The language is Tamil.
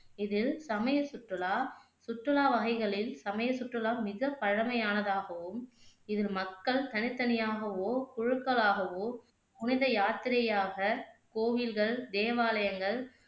இதில் சமய சுற்றுலா சுற்றுலா வகைகளில் சமய சுற்றுலா மிக பழைமையானதாகவும் இதில் மக்கள் தனித்தனியாகவோ குழுக்களாகவோ புனித யாத்திரையாக கோவில்கள், தேவாலயங்கள்